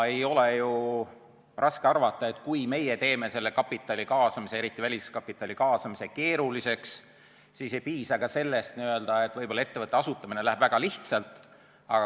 Ei ole ju raske arvata, et kui meie teeme kapitali kaasamise, eriti väliskapitali kaasamise keeruliseks, siis ei piisa ka sellest, et võib-olla ettevõtte asutamine läheb väga lihtsalt.